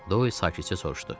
Doy sakitcə soruşdu.